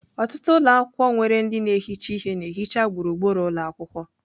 Ọtụtụ ụlọ akwụkwọ nwere ndị na-ehicha ihe na-ehicha gburugburu ụlọ akwụkwọ.